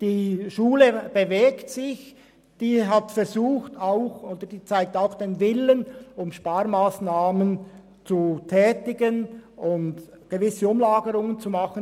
Die Schule bewegt sich und zeigt den Willen, Sparmassnahmen umzusetzen und gewisse Umlagerungen vorzunehmen.